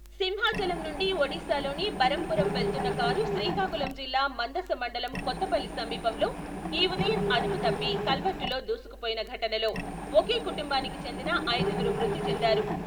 సింహాచలం నుండి ఒడిస్సా లోని బరంపురం వెళ్తున్న కారు శ్రీకాకుళం జిల్లా మందస మండలం కొత్తపల్లి సమీపంలో ఈ ఉదయం అదుపు తప్పి కల్వర్టు లో దూసుకుపోయిన ఘటనలో ఒకే కుటుంబానికి చెందిన ఐదుగురు మృతిచెందారు.